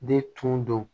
De tun don